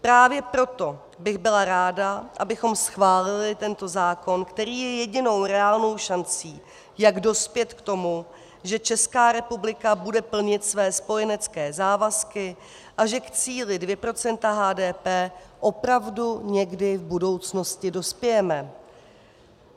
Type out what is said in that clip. Právě proto bych byla ráda, abychom schválili tento zákon, který je jedinou reálnou šancí, jak dospět k tomu, že Česká republika bude plnit své spojenecké závazky a že k cíli 2 % HDP opravdu někdy v budoucnosti dospějeme.